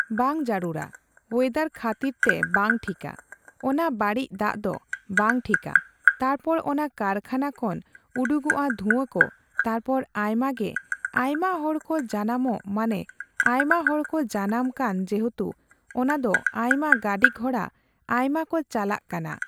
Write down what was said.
ᱵᱟᱝ ᱡᱟᱹᱨᱩᱲᱟ᱾ ᱚᱭᱮᱫᱟᱨ ᱠᱷᱟᱹᱛᱤᱨ ᱛᱮ ᱵᱟᱝ ᱴᱷᱤᱠᱟ᱾ ᱚᱱᱟ ᱵᱟᱹᱲᱤᱡ ᱫᱟᱜ ᱫᱚ ᱵᱟᱝ ᱴᱷᱤᱠᱟ᱾ ᱛᱟᱨᱯᱚᱨ ᱚᱱᱟ ᱠᱟᱨᱠᱷᱟᱱᱟ ᱠᱷᱚᱱ ᱩᱰᱩᱠᱚᱜᱼᱟ ᱫᱷᱩᱣᱟᱹ ᱠᱚ ᱛᱟᱨᱯᱚᱨ ᱟᱭᱢᱟ ᱜᱮ ᱟᱭᱢᱟ ᱦᱚᱲᱠᱚ ᱡᱟᱱᱟᱢᱜ ᱢᱟᱱᱮ ᱟᱭᱢᱟ ᱦᱚᱲ ᱠᱚ ᱡᱟᱱᱟᱢ ᱠᱟᱱ ᱡᱮᱦᱮᱛᱩ ᱚᱱᱟ ᱫᱚ ᱟᱭᱢᱟ ᱜᱟᱹᱰᱤ ᱜᱷᱚᱬᱟ ᱟᱭᱢᱟ ᱠᱚ ᱪᱟᱞᱟᱜ ᱠᱟᱱᱟ᱾